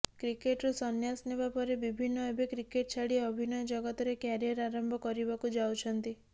କ୍ରିକେଟରୁ ସନ୍ୟାସ ନେବା ପରେ ବିଭିନ୍ନ ଏବେ କ୍ରିକେଟ ଛାଡି ଅଭିନୟ ଜଗତରେ କ୍ୟାରିୟର ଆରମ୍ଭ କରିବାକୁ ଯାଉଛନ୍ତି